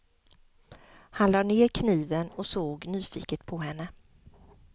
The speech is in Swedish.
Han lade ned kniven och såg nyfiket på henne.